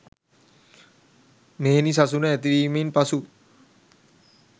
මෙහෙණි සසුන ඇතිවීමෙන් පසු